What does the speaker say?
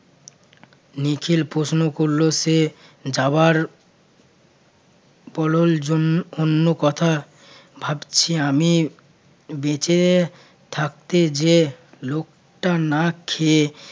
নিখিল প্রশ্ন করল, সে যাবার পলর জন্য অন্য কথা ভাবছি আমি বেঁচে থাকতে যে লোকটা না খেয়ে